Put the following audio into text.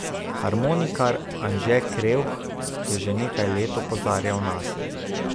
Harmonikar Anže Krevh je že nekaj let opozarjal nase.